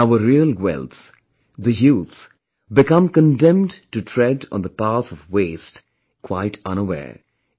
And our real wealth the youth become condemned to tread on the path of waste, quite unaware